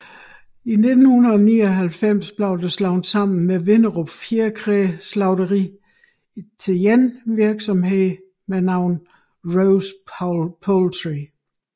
I 1999 blev det slået sammen med Vinderup Fjerkræslagteri til én virksomhed med navnet Rose Poultry